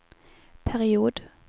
period